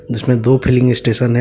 इसमें दो filling station हैं।